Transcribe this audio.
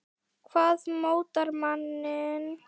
Hvað mótar manninn?